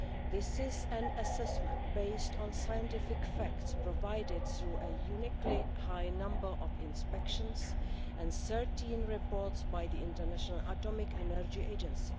This is an assessment based on scientific facts provided through a uniquely high number of inspections and 13 reports by the International Atomic Energy Agency.